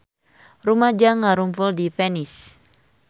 Rumaja ngarumpul di Venice